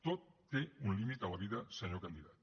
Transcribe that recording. tot té un límit a la vida senyor candidat